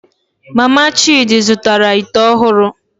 Mama Chidi zụtara ite ọhụrụ